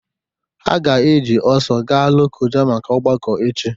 Ha ga-eji ọsọ gaa Lokoja maka ọgbakọ echi